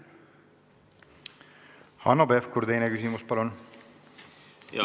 Hanno Pevkur, teine küsimus, palun!